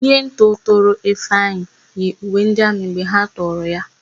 Ndị ntọ tọrọ Ifeanyị yi uwe ndị amị mgbe ha tọrọ ya.